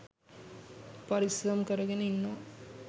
පරිස්සම් කරගෙන ඉන්නවා.